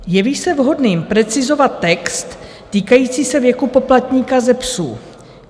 Jeví se vhodným precizovat text týkající se věku poplatníka ze psů.